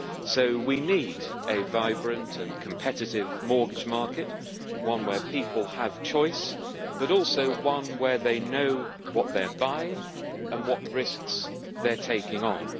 So we need a vibrant and competitive mortgage market, one where people have choice, but also one where they know what they are buying and what risks they are taking on.